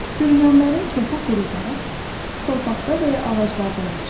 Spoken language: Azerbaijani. Sürünənlərin çoxu quruda, torpaqda və ya ağaclarda yaşayır.